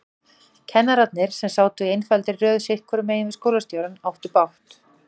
Kennararnir, sem sátu í einfaldri röð sitthvoru megin við skólastjórann, áttu bágt.